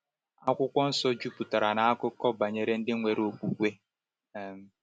Akwụkwọ Nsọ juputara na akụkọ banyere ndị nwere okwukwe. um